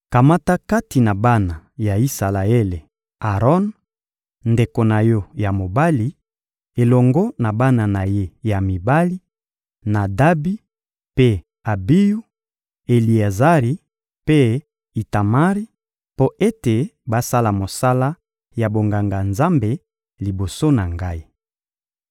Kamata kati na bana ya Isalaele Aron, ndeko na yo ya mobali, elongo na bana na ye ya mibali: Nadabi mpe Abiyu, Eleazari mpe Itamari; mpo ete basala mosala ya bonganga-Nzambe liboso na Ngai.